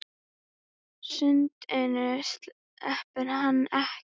Sundinu sleppti hann ekki.